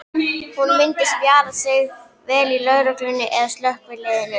Hún myndi spjara sig vel í lögreglunni eða slökkviliðinu.